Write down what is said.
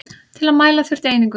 Til að mæla þurfti einingu.